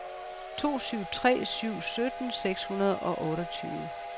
to syv tre syv sytten seks hundrede og otteogtyve